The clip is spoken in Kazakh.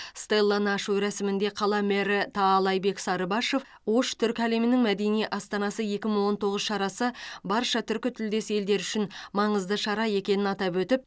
стелланы ашу рәсімінде қала мэрі таалайбек сарыбашов ош түркі әлемінің мәдени астанасы екі мың он тоғыз шарасы барша түркітілдес елдері үшін маңызды шара екенін атап өтіп